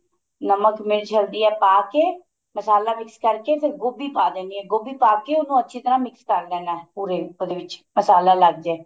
ਨਮਕ ਮਿਰਚ ਹਲਦੀ ਪਾ ਕੇ ਮਸਾਲਾ mix ਕਰਕੇ ਫੇਰ ਗੋਭੀ ਪਾ ਦੇਣੀ ਏ ਗੋਭੀ ਪਾ ਕੇ ਉਹਨੂੰ ਅੱਛੀ ਤਰ੍ਹਾਂ mix ਕਰ ਦੇਣਾ ਪੂਰੇ ਪਨੀਰ ਵਿੱਚ ਮਸਾਲਾ ਲੱਗ ਜੇ